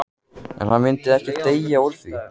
En hann myndi ekki deyja úr því.